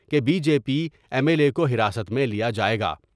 کہ B. J P M L A کوتر است میں لیا جائے گا ۔